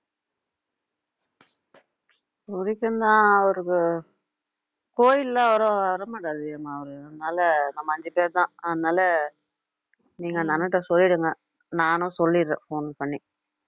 புடிக்கும் தான் அவருக்கு கோயில்லாம் அவரு வர மாட்டாருடி அம்மா அவரு அதனால நம்ம அஞ்சு பேர்தான் அதனால நீங்க அந்த அண்ணன்கிட்ட சொல்லிடுங்க நானும் சொல்லிடுறேன் phone பண்ணி